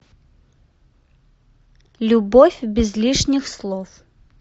любовь без лишних слов